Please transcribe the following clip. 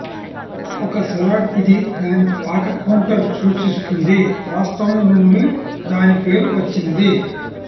ఒక సలాడ్ ఇది దాని పాక కౌంటర్ సూచిస్తుంది వాస్తవం నుండి దాని పేరు వచ్చింది